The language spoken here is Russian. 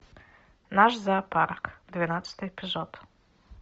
наш зоопарк двенадцатый эпизод